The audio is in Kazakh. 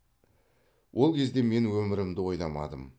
ол кезде мен өмірімді ойламадым